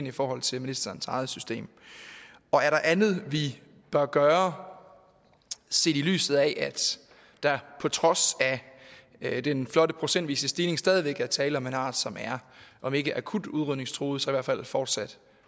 i forhold til ministerens eget system og er der andet vi bør gøre set i lyset af at der på trods af den flotte procentvise stigning stadig væk er tale om en art som er om ikke akut udrydningstruet så i hvert fald fortsat